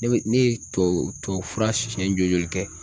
Ne bɛ ne ye tubabu tubabu fura siɲɛ joli joli kɛ